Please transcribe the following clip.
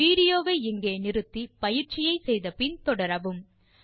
video வை இங்கே நிறுத்தி பயிற்சியை செய்து முடித்து பின் தொடரவும்